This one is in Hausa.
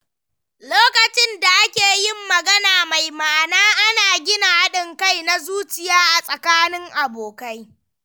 Lokacin da ake yin magana mai ma’ana, ana gina haɗin kai na zuciya tsakanin abokai.